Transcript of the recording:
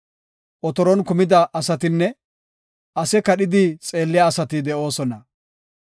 Otoron kumida asatinne ase kadhidi xeelliya asati de7oosona.